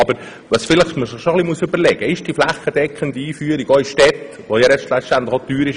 Aber man muss sich schon überlegen, ob die flächendeckende Einführung in den Städten wirklich sinnvoll ist.